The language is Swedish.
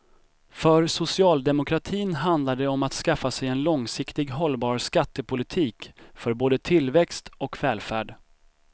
För socialdemokratin handlar det om att skaffa sig en långsiktigt hållbar skattepolitik för både tillväxt och välfärd.